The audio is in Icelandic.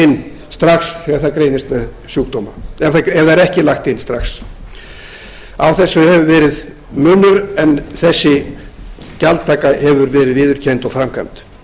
inn strax þegar það greinist með sjúkdóma ef það er ekki lagt inn strax á þessu hefur verið munur en þessi gjaldtaka hefur verið viðurkennd og framkvæmd